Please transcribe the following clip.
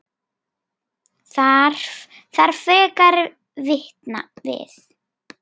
Þarf frekari vitna við?